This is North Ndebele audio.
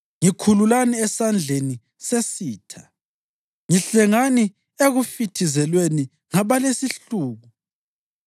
ngikhululani esandleni sesitha, ngihlengani ekufithizelweni ngabalesihluku’?